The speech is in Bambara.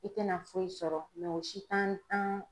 I tɛna foyi sɔrɔ o si t'an